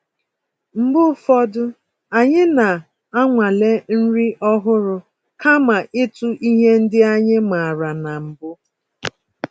Mgbe ụfọdụ, anyị na-anwale nri ọhụrụ kama ịtụ ihe ndị anyị maara na mbụ